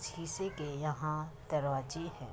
शीशे के यहाँ दरवाजे हैं।